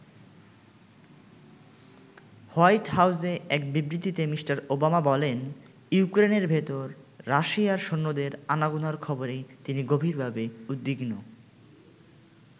White হাউজে এক বিবৃতিতে মি. ওবামা বলেন ইউক্রেনের ভেতর রাশিয়ার সৈন্যদের আনাগোনার খবরে তিনি গভীরভাবে উদ্বিগ্ন।